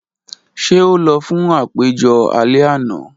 Ṣe o lọ fun apejọ alẹ ana?